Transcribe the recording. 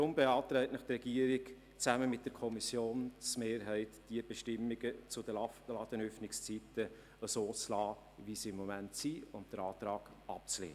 Daher beantragt die Regierung zusammen mit der Kommissionsmehrheit, die Bestimmungen zu den Ladenöffnungszeiten so zu belassen, wie sie im Moment sind, und den Antrag abzulehnen.